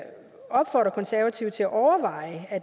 opfordre de konservative til at overveje